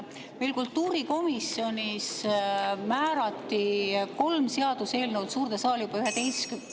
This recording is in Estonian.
Meil kultuurikomisjonis määrati kolm seaduseelnõu suurde saali juba 11‑ndaks …